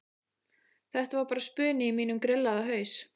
Þetta var bara spuni í mínum grillaða haus.